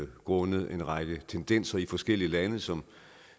grundet en række tendenser i forskellige lande som